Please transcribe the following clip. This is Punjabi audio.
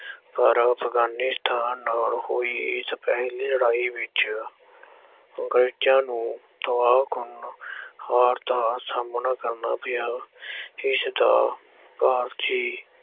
ਪਰ ਅਫਗਾਨੀਸਤਾਨ ਨਾਲ ਹੋਈ ਇਸ ਪਹਿਲੀ ਲੜਾਈ ਵਿੱਚ ਅੰਗਰੇਜ਼ਾਂ ਨੂੰ ਤਬਾਹ ਕਰਨ ਹਾਰ ਦਾ ਸਾਹਮਣਾ ਕਰਨਾ ਪਿਆ ਇਸਦਾ ਭਾਰਤੀ